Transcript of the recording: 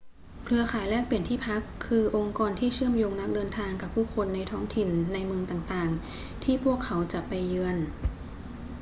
เครือข่ายแลกเปลี่ยนที่พัก คือองค์กรที่เชื่อมโยงนักเดินทางกับผู้คนในท้องถิ่นในเมืองต่าง ๆ ที่พวกเขาจะไปเยือน